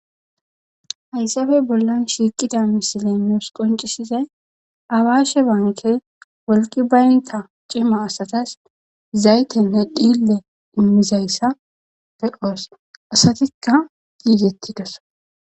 Haysappe bollan nusi qonc'isiza misile awashe banke woyikko wolqqi bayiniththas c'ima asatas zayithenne xille imzzayissa be'os asatikka gigetidosona.